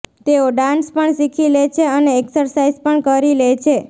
તેઓ ડાન્સ પણ શીખી લે છે અને એક્સરસાઇઝ પણ કરી લે છે